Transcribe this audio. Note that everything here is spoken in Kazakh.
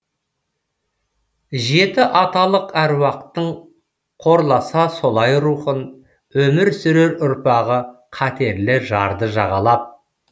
жеті аталық әруақтың қорласа солай рухын өмір сүрер ұрпағы қатерлі жарды жағалап